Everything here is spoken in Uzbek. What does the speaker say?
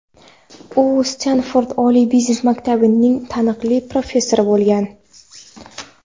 u Stenford oliy biznes maktabining taniqli professori bo‘lgan.